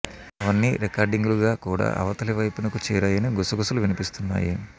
అవన్నీ రికార్డింగ్ లు గా కూడా అవతలి వైపునకు చేరాయని గుసగుసలు వినిపిస్తున్నాయి